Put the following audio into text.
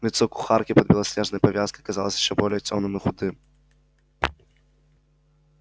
лицо кухарки под белоснежной повязкой казалось ещё более тёмным и худым